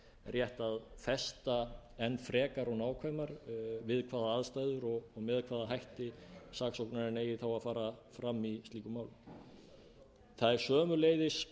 rétt að festa enn frekar og nákvæmar við hvaða aðstæður og með hvaða hætti saksóknarinn eigi þá að fara fram í slíkum málum það er sömuleiðis